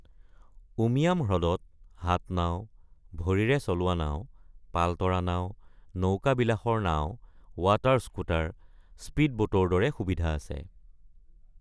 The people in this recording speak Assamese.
উমিয়াম হ্ৰদত হাত নাও, ভৰিৰে চলোৱা নাও, পাল তৰা নাও, নৌকাবিলাসৰ নাও, ৱাটাৰ স্কুটাৰ, স্পীডবোটৰ দৰে সুবিধা আছে।